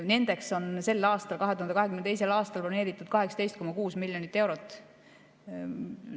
Nendeks on sel aastal, 2022. aastal broneeritud 18,6 miljonit eurot.